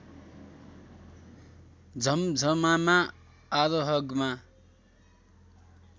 झम्झमामा आरोहगमा